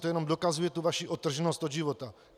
To jenom dokazuje tu vaši odtrženost od života.